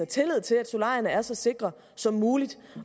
tillid til at solarierne er så sikre som muligt